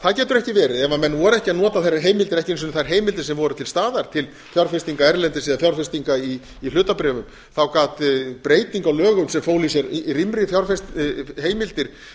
það getur ekki verið ef menn voru ekki að nota þær heimildir ekki einu sinni þær heimildir sem voru til staðar til fjárfestinga erlendis eða fjárfestinga í hlutabréfum gat breyting á lögum sem fól í sér rýmri heimildir